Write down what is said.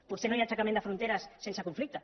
potser no hi ha aixecament de fronteres sense conflicte